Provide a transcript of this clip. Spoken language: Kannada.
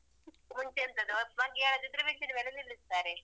ಮುಂಚೆ ಎಂತದು ಮಗ್ಗಿ ಹೇಳದಿದ್ರೆ bench ನ ಮೇಲೆ ನಿಲ್ಲಿಸ್ತಾರೆ.